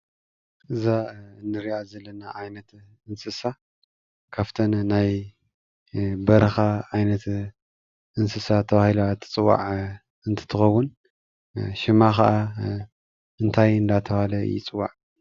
እዛ እንሪኣ ዘለና ዓይነት እንስሳ ካብፍትን ናይ በረኻ ዓይነት እንስሳ ተባሂላ እትፅዋዕ እንትኸውን ሽማ ከዓ እንታይ እንዳተብሃለ ይፅዋዕ?